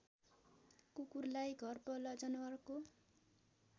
कुकुरलाई घरपालुवा जनावरको